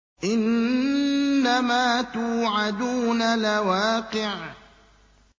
إِنَّمَا تُوعَدُونَ لَوَاقِعٌ